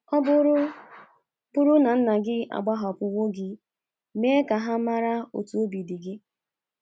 Ọ bụrụ bụrụ na nna gị agbahapụwo gị, mee ka ha mara otú obi dị gị. ”